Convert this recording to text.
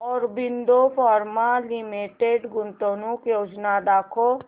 Aurobindo pharma limited गुंतवणूक योजना दाखव